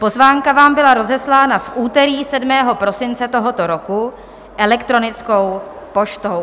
Pozvánka vám byla rozeslána v úterý 7. prosince tohoto roku elektronickou poštou.